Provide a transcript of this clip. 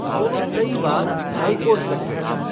दोनों कई बार हाईकोर्ट तक गये।